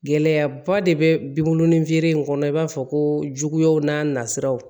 Gɛlɛyaba de bɛ binw ni feere in kɔnɔ i b'a fɔ ko juguyaw n'a nasiraw